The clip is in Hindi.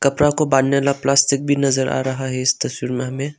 कपड़ा को बांधने वाला प्लास्टिक भी नज़र आ रहा है इस तस्वीर में हमें।